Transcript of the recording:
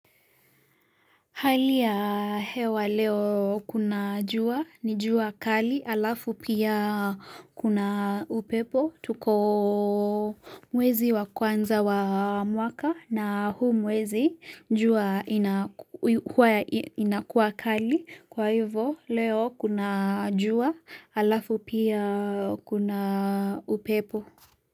Hali ya hewa leo kuna jua, ni jua kali, alafu pia kuna upepo, tuko mwezi wa kwanza wa mwaka na huu mwezi jua ina huwa inakuwa kali, kwa hivo leo kuna jua, alafu pia kuna upepo.